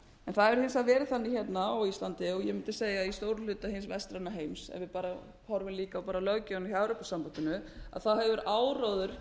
hins vegar verið þannig hérna á íslandi og ég mundi segja í stórum hluta hins vestræna heims ef við bara horfum líka á löggjöfina hjá evrópusambandinu hefur áróður